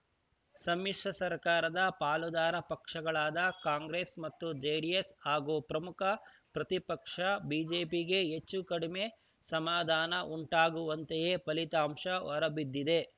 ಸಮ್ಮಿಶ್ರ ಸರ್ಕಾರದ ಪಾಲುದಾರ ಪಕ್ಷಗಳಾದ ಕಾಂಗ್ರೆಸ್‌ ಮತ್ತು ಜೆಡಿಎಸ್‌ ಹಾಗೂ ಪ್ರಮುಖ ಪ್ರತಿಪಕ್ಷ ಬಿಜೆಪಿಗೆ ಹೆಚ್ಚೂ ಕಡಮೆ ಸಮಾಧಾನ ಉಂಟಾಗುವಂತೆಯೇ ಫಲಿತಾಂಶ ಹೊರಬಿದ್ದಿದೆ